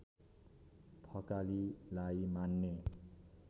थकालीलाई मान्ने